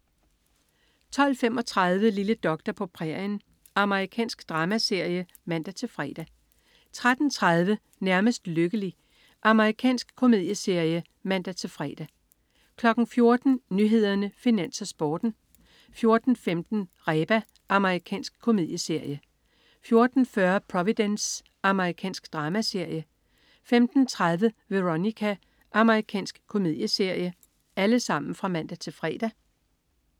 12.35 Lille doktor på prærien. Amerikansk dramaserie (man-fre) 13.30 Nærmest lykkelig. Amerikansk komedieserie (man-fre) 14.00 Nyhederne, Finans, Sporten (man-fre) 14.15 Reba. Amerikansk komedieserie (man-fre) 14.40 Providence. Amerikansk dramaserie (man-fre) 15.30 Veronica. Amerikansk komedieserie (man-fre)